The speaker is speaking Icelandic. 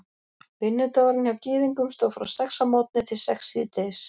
vinnudagurinn hjá gyðingum stóð frá sex að morgni til sex síðdegis